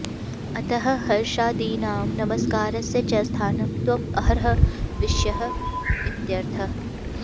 अतः हर्षादीनां नमस्कारस्य च स्थानं त्वं अर्हः विषयः इत्यर्थः